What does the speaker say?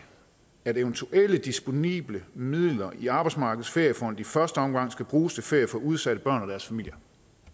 at eventuelle disponible midler i arbejdsmarkedets feriefond i første omgang skal bruges til ferie for udsatte børn og deres familier